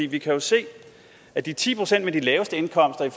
vi kan jo se at de ti procent med de laveste indkomster